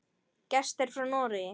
Gestir frá Noregi.